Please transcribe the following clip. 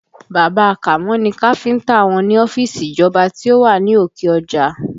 Bàbá a Kàmó ni káfíńtà wọn ní ọ́fíìsì ìjọba tí ó wà ní òkè ọjà